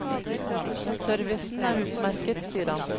Servicen er utmerket, sier han.